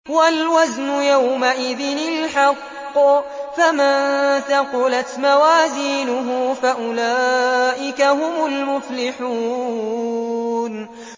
وَالْوَزْنُ يَوْمَئِذٍ الْحَقُّ ۚ فَمَن ثَقُلَتْ مَوَازِينُهُ فَأُولَٰئِكَ هُمُ الْمُفْلِحُونَ